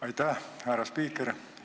Aitäh, härra spiiker!